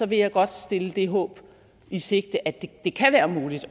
vil jeg godt stille det håb i sigte at det kan være muligt